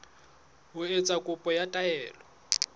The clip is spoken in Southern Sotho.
ho etsa kopo ya taelo